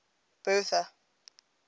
bertha